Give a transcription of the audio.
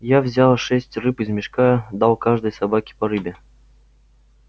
я взял шесть рыб из мешка дал каждой собаке по рыбе